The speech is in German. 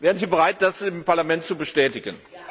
Wären Sie bereit, das dem Parlament zu bestätigen?